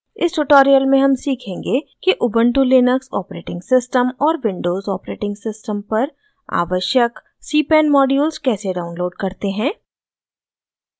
इस ट्यूटोरियल में हम सीखेंगे कि उबन्टु लिनक्स ऑपरेटिंग सिस्टम और विंडोज़ ऑपरेटिंग सिस्टम पर आवश्यक cpan modules कैसे डाउनलोड करते हैं